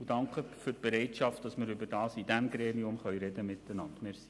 Ich danke für die Bereitschaft, in diesem Gremium miteinander zu reden.